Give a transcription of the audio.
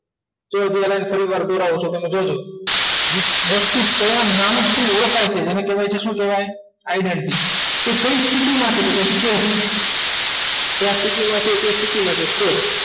સૌથી વધારે થોડીવાર વિસવસ્તુ કયા નામથી ઓળખાય છે એને કહેવાય છે એને શું કહેવાય તે કઈ સિટીમાં છે તો શું કહેવાય કયા સિટીમાં છે કઈ state